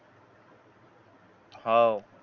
हवं